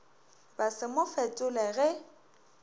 ba se mo fetole ge